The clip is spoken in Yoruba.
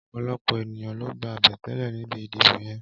Ọpọlọpọ éniyàn ló gbá abẹtẹlẹ nibi idibó yèn